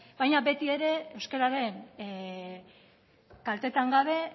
baina beti ere euskararen kaltetan gabe